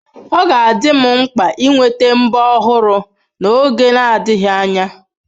Ọ ga-adị m mkpa ịnweta mbo ọhụrụ n'oge adịghị anya.